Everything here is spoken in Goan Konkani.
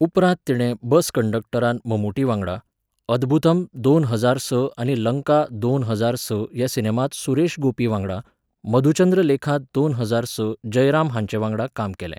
उपरांत तिणें बस कंडक्टरांत ममूटी वांगडा, अद्बुथम दोन हजार स आनी लंका दोन हजार स ह्या सिनेमांत सुरेश गोपी वांगडा, मधुचंद्रलेखांत दोन हजार स जयराम हांचे वांगडा काम केलें.